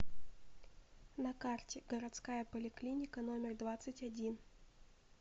на карте городская поликлиника номер двадцать один